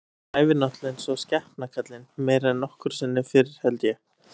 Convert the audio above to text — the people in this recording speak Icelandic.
Hann æfir náttúrulega eins og skepna kallinn, meira en nokkru sinni fyrr held ég.